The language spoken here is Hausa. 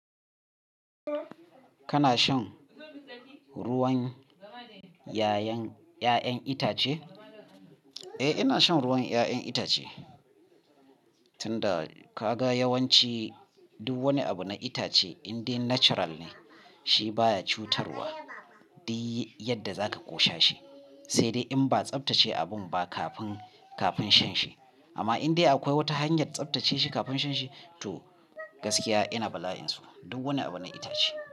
Kana shan ruwan yayan itace? Eh, ina shan ruwan ya'yan itace, tunda kaga yawanci duk wani abu na itace in dai natural ne shi baya cutarwa, dak yadda zaka ko shashi, sai dai in ba a tsaftace abun ba kafin shan shi. Amma in dai akwai wata hanyar tsaftace shi kafin shan shi gaskiya ina bala'in sun, duk wani abu na itace.